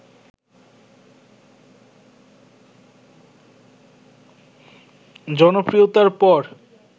জনপ্রিয়তার পর